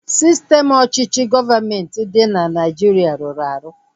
Sistem ọchịchị gọọmenti dị na Nigeria rụrụ arụ